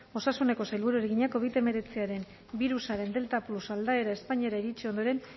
osasuneko sailburuari egina covid hemeretziaren birusaren delta plus aldaera espainiara iritsi ondoren